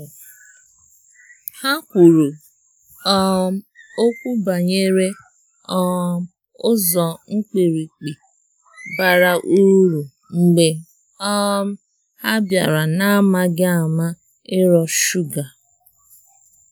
Ha kwuru um okwu banyere um ụzo mkpirikpi bara ụrụ mgbe um ha biara na amaghi ama ịro shuga.